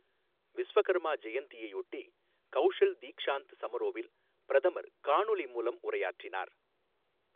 விஸ்வகர்மா ஜெயந்தியையொட்டி கௌஷல் தீக்ஷாந்த் சமரோவில் பிரதமர் காணொலி மூலம் உரையாற்றினார்